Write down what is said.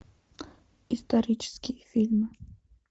исторические фильмы